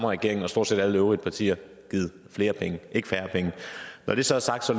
regeringen og stort set alle de øvrige partier givet flere penge ikke færre penge når det så er sagt